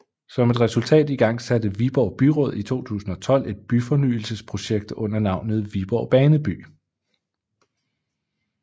Som et resultat igangsatte Viborg Byråd i 2012 et byfornyelsesprojekt under navnet Viborg Baneby